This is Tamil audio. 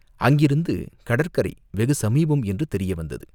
அங்கிருந்து கடற்கரை வெகு சமீபம் என்று தெரிய வந்தது.